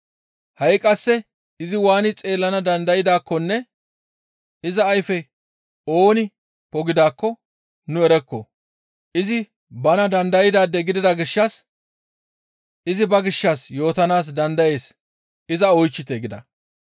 Ha7i qasse izi waani xeellana dandaydaakkonne iza ayfe ooni pogidaakko nu erokko. Izi bana dandaydaade gidida gishshas izi ba gishshas yootanaas dandayees iza oychchite» gida.